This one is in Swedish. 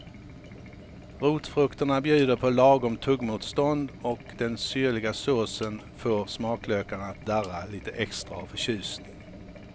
Rotfrukterna bjuder på lagom tuggmotstånd och den syrliga såsen får smaklökarna att darra lite extra av förtjusning.